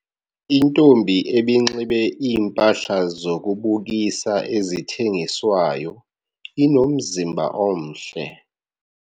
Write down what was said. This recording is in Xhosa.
Intombi ebinxibe iimpahla zokubukisa ezithengiswayo inomzimba omhle.